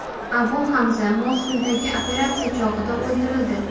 Abu Hamza Mosuldagi operatsiya chog‘ida o‘ldirildi.